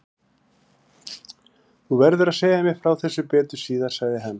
Þú verður að segja mér frá þessu betur síðar sagði hann.